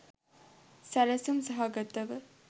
සැළසුම් සහගතව